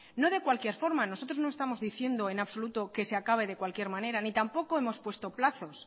no de cualquier forma nosotros no estamos diciendo en absoluto que se acabe de cualquier manera ni tampoco hemos puesto plazos